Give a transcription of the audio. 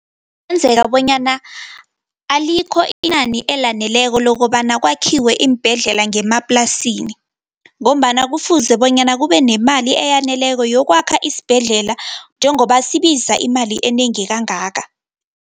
Kuyenzeka bonyana, alikho inani elaneleko lokobana kwakhiwe iimbhedlela ngemaplasini, ngombana kufuze bonyana kube nemali eyaneleko yokwakha isibhedlela, njengoba sibiza imali enengi kangaka.